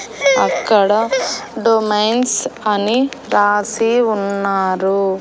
అక్కడ డొమైన్స్ అని రాసి ఉన్నారు.